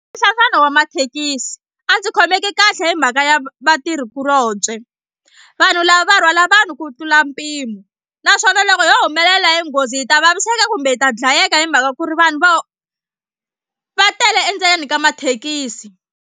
Wa mathekisi a ndzi khomeki kahle hi mhaka ya va vatirhikulobye vanhu lava va rhwala vanhu ku tlula mpimo naswona loko yo humelela hi nghozi hi ta vaviseka kumbe hi ta dlayeka hi mhaka ku ri vanhu vo va tele endzeni ka mathekisi.